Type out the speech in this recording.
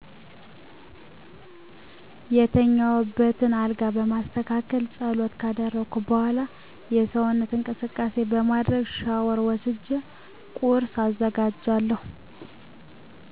የተኛውበትን አልጋ በማስተካከል ጸሎት ካደረኩ በዃላ የሰውነት እንቅስቃሴ በማድረግ ሻወር ወስጀ ቁርስ አዘጋጃለሁ